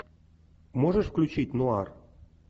можешь включить нуар